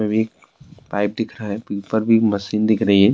Pipe دیکھ رہی ہے۔ اپر بھی مشین دیکھ رہی ہے۔